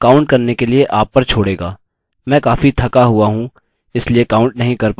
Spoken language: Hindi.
मैं काफी थका हुआ हूँ इसलिए काउंट नहीं कर पाउँगा